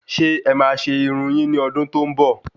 Ṣé ẹ ma se Irun yin ni ọdún tó ń bọ?